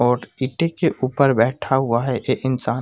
और ईटें के ऊपर बैठा हुआ है एक इंसान।